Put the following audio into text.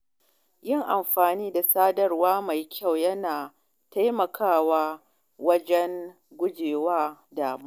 Yin amfani da sadarwa mai kyau yana taimakawa wajen gujewa damuwa.